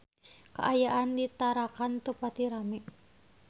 Kaayaan di Tarakan teu pati rame